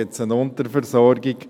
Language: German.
Gibt es eine Unterversorgung?